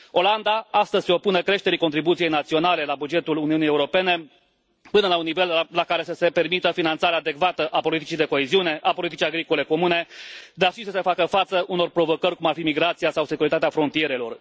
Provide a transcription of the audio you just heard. Olanda astăzi se opune creșterii contribuției naționale la bugetul Uniunii Europene până la un nivel la care să se permită finanțarea adecvată a politicii de coeziune, a politicii agricole comune, dar și să se facă față unor provocări cum ar fi migrația sau securitatea frontierelor.